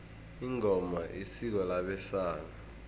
ingoma isiko labesana